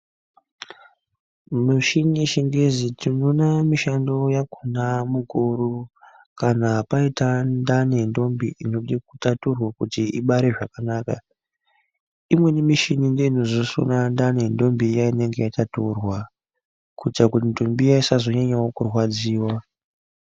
Mishini yechingezi tinoona mishando yakhona mukuru kana paita ndani yentombi inode kutaturwa kuti ibare zvakanaka imweni mishini ndeinozosona ndani yentombi iya inenge yataturwa kuita kuti ntombi iya isazonyanyawo kurwadziwa.